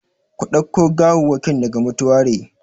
Ku ɗauke gawawwakin daga mutuwari!